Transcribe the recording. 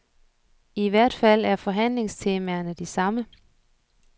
I hvert fald er forhandlingstemaerne de samme.